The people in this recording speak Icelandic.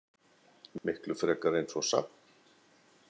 Miklu frekar eins og safn.